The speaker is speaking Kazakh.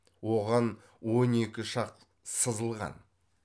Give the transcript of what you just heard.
оған он екі шақ сызылған